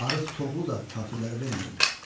Arıq toxlu da kafirlərə vermədim.